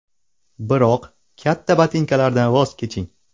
Biroq katta botinkalardan voz keching.